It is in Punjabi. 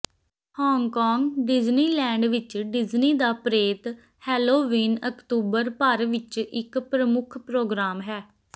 ਹਾਂਗਕਾਂਗ ਡਿਜ਼ਨੀਲੈਂਡ ਵਿੱਚ ਡਿਜਨੀ ਦਾ ਪ੍ਰੇਤ ਹੈਲੋਵੀਨ ਅਕਤੂਬਰ ਭਰ ਵਿੱਚ ਇਕ ਪ੍ਰਮੁੱਖ ਪ੍ਰੋਗਰਾਮ ਹੈ